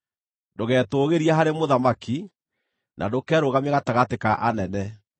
Ndũgetũũgĩrie harĩ mũthamaki, na ndũkerũgamie gatagatĩ ka anene;